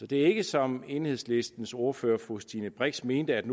det er ikke som enhedslistens ordfører fru stine brix mente at